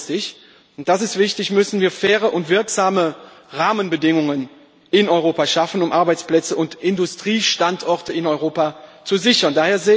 Aber langfristig das ist wichtig müssen wir faire und wirksame Rahmenbedingungen in Europa schaffen, um Arbeitsplätze und Industriestandorte in Europa zu sichern.